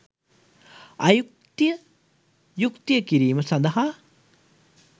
අයුක්තිය යුක්තිය කිරීම සඳහා